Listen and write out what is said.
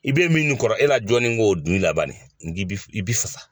I bɛ min kɔrɔ e la jɔɔni kɛ o la banni i bi i bi fasa.